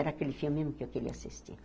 Era aquele filme mesmo que eu queria assistir.